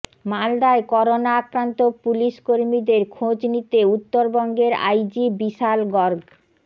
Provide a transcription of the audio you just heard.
মালদায় করোনা আক্রান্ত পুলিশ কর্মীদের খোঁজ নিতে উত্তরবঙ্গের আইজি বিশাল গর্গ